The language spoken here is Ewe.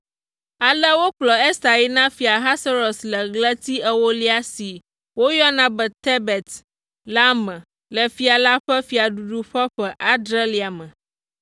Ale wokplɔ Ester yi na Fia Ahasuerus le ɣleti ewolia si woyɔna be Tebet la me le fia la ƒe fiaɖuɖu ƒe ƒe adrelia me.